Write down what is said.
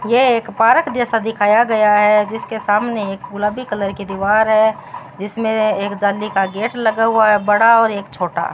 यह एक पार्क जैसा दिखाया गया है जिसके सामने एक गुलाबी कलर की दीवार है जिसमें एक जाली का गेट लगा हुआ है बड़ा और एक छोटा --